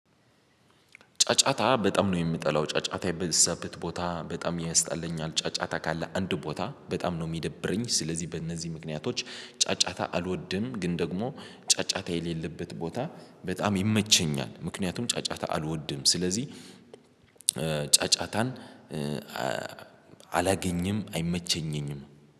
ጫጫታ በጣም ነው የምጠላው ጫጫታ የበዛበት ቦታ በጣም ያስጠላኛል። ጫጫታ ካለ አንድ ቦታ በጣም ነው የሚደብረኝ። ስለዚህ በእነዚህ ምክንያቶች ጫጫታ አልወድም። ግን ደግሞ ጫጫታ የሌለበት ቦታ በጣም ይመቸኛል። ምክንያቱም ጫጫታ አልወድም ስለዚህ ጫጫታን አላገኝም አይመቸኘኝም